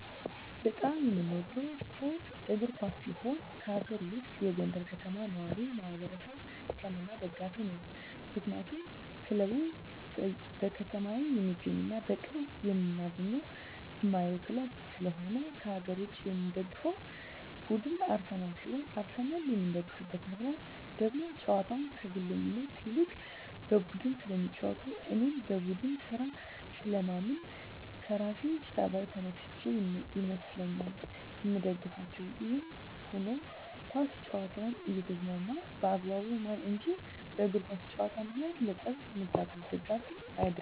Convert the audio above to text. በጣም የምወደው ስፓርት እግር ኳስ ሲሆን ከአገር ውስጥ የጎንደር ከተማ ነዋሪወች ማህበር(ከነማ) ደጋፊ ነኝ ምክንያቱም ክለቡ በከተማየ የሚገኝና በቅርብ እማገኘውና እማየው ክለብ ስለሆነ። ከአገር ውጭ የምደግፈው ቡድን አርሰናል ሲሆን አርሰናልን የምደግፍበት ምክንያት ደግሞ ጨዋታቸው ከግለኝነት ይልቅ በቡድን ስለሚጫወቱ እኔም በቡድን ስራ ስለማምን ከራሴ ጸባይ ተነስቸ ይመስለኛል ምደግፋቸው። ይህም ሁኖ ኳስ ጨዋታን እየተዝናናው በአግባቡ ማይ እንጅ በእግር ኳስ ጨዋታ ምክንያት ለጠብ ምጋበዝ ደጋፊ አደለሁም።